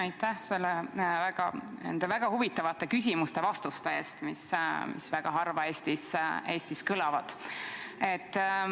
Aitäh nende väga huvitavate küsimuste-vastuste eest, mis väga harva Eestis kõlavad!